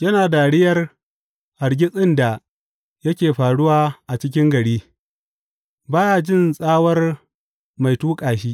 Yana dariyar hargitsin da yake faruwa a cikin gari; ba ya jin tsawar mai tuƙa shi.